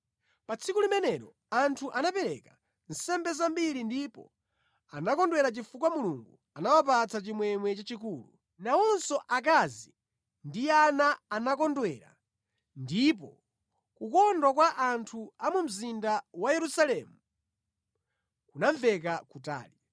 Pa tsiku limenelo anthu anapereka nsembe zambiri ndipo anakondwera chifukwa Mulungu anawapatsa chimwemwe chachikulu. Nawonso akazi ndi ana anakondwera ndipo kukondwa kwa anthu a mu mzinda wa Yerusalemu kunamveka kutali.